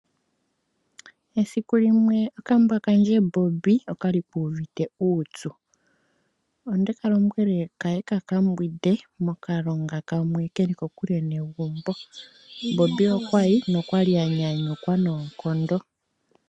Esiku limwe okambwa kandje Bobi okwali ku uvite uupyu ondeka lombwele kaye kaka mbwide mokalonga kamwe keli kokule negumbo Bobi okwa yi nokwali a nyanyukwa noonkondo.